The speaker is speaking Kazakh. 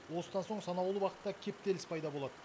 осыдан соң санаулы уақытта кептеліс пайда болады